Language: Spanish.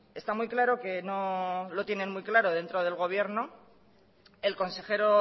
está muy claro que no lo tienen muy claro dentro del gobierno el consejero